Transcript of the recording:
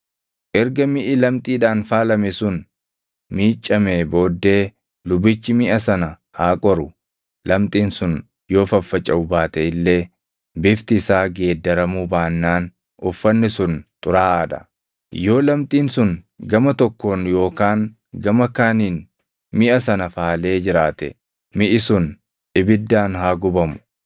Erga miʼi lamxiidhaan faalame sun miiccamee booddee lubichi miʼa sana haa qoru; lamxiin sun yoo faffacaʼu baate illee bifti isaa geeddaramuu baannaan uffanni sun xuraaʼaa dha. Yoo lamxiin sun gama tokkoon yookaan gama kaaniin miʼa sana faalee jiraate, miʼi sun ibiddaan haa gubamu.